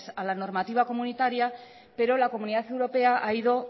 a la normativa comunitaria pero la comunidad europea ha ido